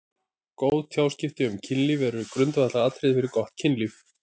Góð tjáskipti um kynlíf eru grundvallaratriði fyrir gott kynlíf.